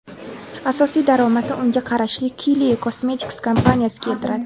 Asosiy daromadni unga qarashli Kylie Cosmetics kompaniyasi keltiradi.